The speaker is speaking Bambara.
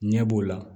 Ɲɛ b'o la